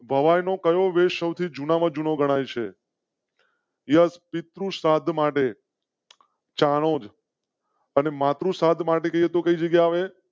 નો waste કરો વે સૌથી જૂના માં જૂનો ગણાય છે યસ પિતૃ શ્રાદ્ધ માટે ચાણોદ. અને માત્ર સાત મારે તો કઈ જગ્યા વે?